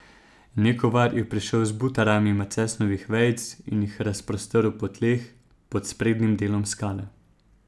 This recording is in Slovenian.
Nekovar je prišel z butarami macesnovih vejic in jih razprostrl po tleh pod sprednjim delom skale.